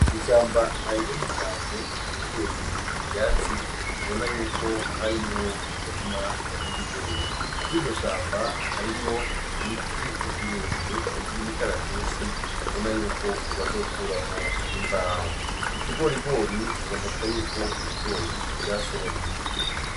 Ishamba arirenge cane ryegereye ivyatsi ubona yuko harimwo umurima awwibigori kuri iryo shamba harimwo imiti ibirebire ivyo imikaratusi ubona yuko ubazokura mu imbaho mu kigorigori aboneka yuko ibigori vyasoromwe.